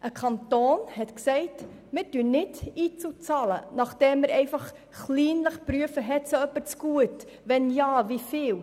Ein Kanton hat gesagt, wir bezahlen keine IZU, nachdem wir kleinlich geprüft haben, wer etwas zugute hat und wenn ja, wie viel.